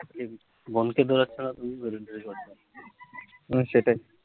হম সেটাই